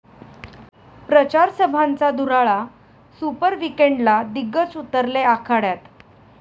प्रचारसभांचा धुराळा, सुपर विकेंडला दिग्गज उतरले आखाड्यात